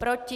Proti?